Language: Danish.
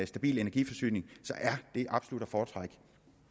stabil energiforsyning er det absolut at foretrække